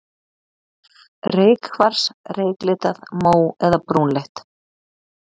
Reykkvars, reyklitað, mó- eða brúnleitt.